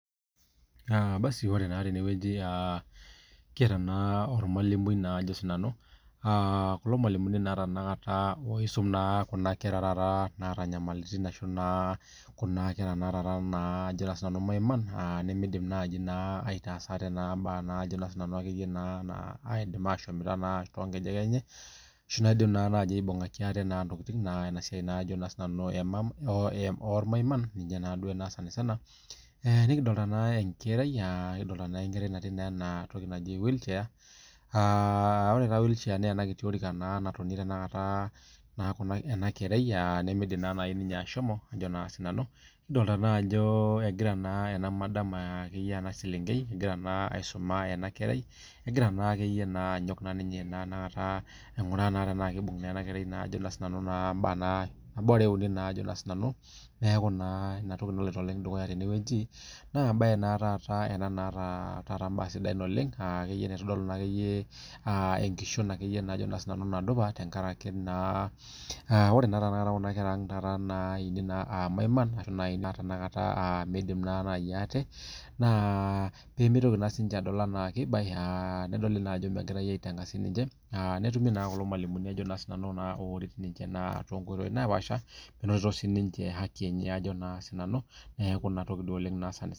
Aa basi ore naa tenewueji kiata ormalimui ajo na sinanu kuna malimuni naisum kuna kera maiman nimidim nai aitaas ate mbaa nimidim ashomoita tonkejek enye asu naidim aibungaki ate ntokitin neaku inasia ormaiman nai ena sanisana nikidolta enkerai natii enatoki naji wheelchair na entoki natonie enakerai nimidim ninye ashomo nikidolta ajo egira enaselenkei aisum enakerai egiraa naakeyie naa ainguraa anaa kibung enakerai mbaa uni najo na sinanu inatoki naloito dukuya tenewueji na kitadolu akeyie aa enkishon akeyie nadupa aa ore kuna kera aang naini aa irmaiman na indim nai ate pemitoki adol ajo kibae netumi kulo malimuni minoto aki neaku enatoki duo sanisana